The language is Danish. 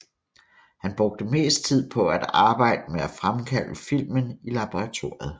Han brugte mest tid på at arbejde med at fremkalde filmen i laboratoriet